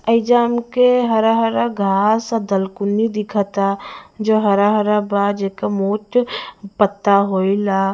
एइजा हमके हरा -हरा घास और दलकुन्नी दिखता जे हरा हरा बा जेकर मोट पत्ता होएला--